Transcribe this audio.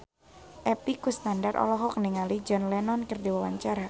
Epy Kusnandar olohok ningali John Lennon keur diwawancara